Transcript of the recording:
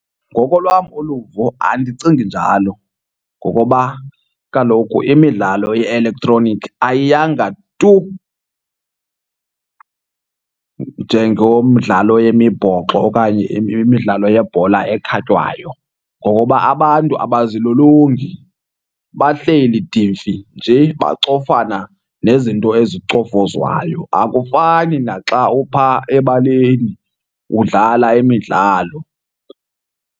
Ngokolwam uluvo andicingi njalo ngokoba kaloku imidlalo ye-elektroniki ayiyanga tu njengomdlalo yemibhoxo okanye imidlalo yebhola ekhatywayo. Ngokoba abantu abazilolongi, bahleli dimfi nje bacofana nezinto ezicofozwayo. Akufani naxa uphaa ebaleni udlala imidlalo.